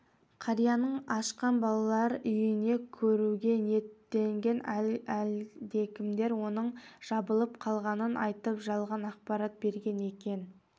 қарияның ашқан балалар үйін көруге ниеттенгенде әлдекімдер оның жабылып қалғанын айтып жалған ақпарат берген екен